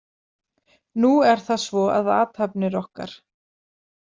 Nú er það svo að athafnir okkar.